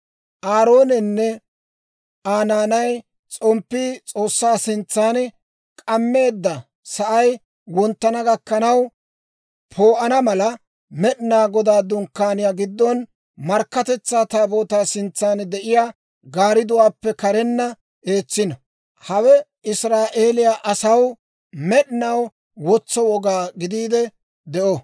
Aaroonenne Aa naanay, s'omppii S'oossaa sintsaan k'ammeedda sa'ay wonttana gakkanaw poo'ana mala, Med'inaa Godaa Dunkkaaniyaa giddon, Markkatetsaa Taabootaa sintsaan de'iyaa gaardduwaappe karenna eetsino. Hawe Israa'eeliyaa asaw med'inaw wotso woga gidiide de'o.